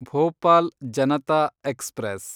Bhopal Janata express